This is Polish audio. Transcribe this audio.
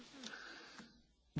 Panie Przewodniczący!